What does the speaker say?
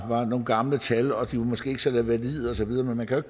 nogle gamle tal og at de måske så valide og så videre men man kan